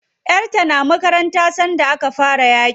Yar ta na makaranta sanda aka fara yaƙin.